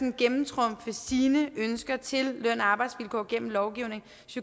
at gennemtrumfe sine ønsker til løn og arbejdsvilkår gennem lovgivning